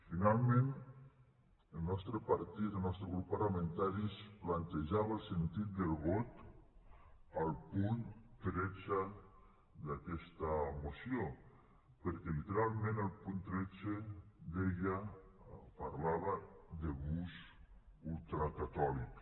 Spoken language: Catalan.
finalment el nostre partit el nostre grup parlamentari es plantejava el sentit del vot al punt tretze d’aquesta moció perquè literalment el punt tretze parlava de bus ultracatòlic